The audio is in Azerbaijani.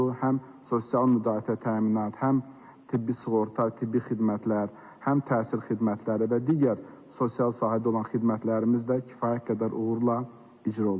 Həm sosial müdafiə təminatı, həm tibbi sığorta, tibbi xidmətlər, həm təhsil xidmətləri və digər sosial sahədə olan xidmətlərimiz də kifayət qədər uğurla icra olundu.